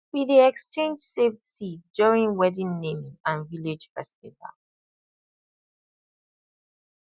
we dey exchange saved seed during wedding naming and village festival